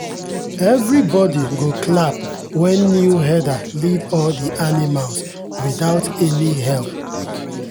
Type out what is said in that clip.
everybody go clap when new herder lead all the animals without any help.